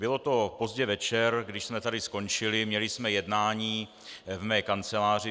Bylo to pozdě večer, když jsme tady skončili, měli jsme jednání v mé kanceláři.